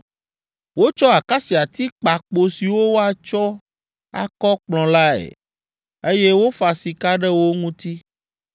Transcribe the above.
Wotsɔ akasiati kpa kpo siwo woatsɔ akɔ Kplɔ̃ lae, eye wofa sika ɖe wo ŋuti.